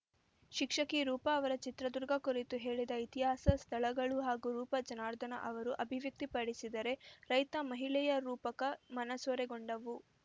ಶಿಕ್ಷಕಿ ರೂಪಾ ಅವರ ಚಿತ್ರದುರ್ಗ ಕುರಿತು ಹೇಳಿದ ಇತಿಹಾಸ ಸ್ಥಳಗಳು ಹಾಗೂ ರೂಪಾ ಜನಾರ್ಧನ ಅವರು ಅಭಿವ್ಯಕ್ತಿಪಡಿಸಿದ ರೈತ ಮಹಿಳೆಯ ರೂಪಕ ಮನಸೊರೆಗೊಂಡವು